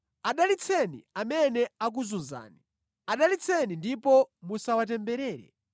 Adalitseni amene akuzunzani. Adalitseni ndipo musawatemberere.